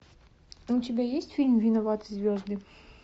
у тебя есть фильм виноваты звезды